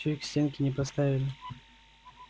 чуть к стенке не поставили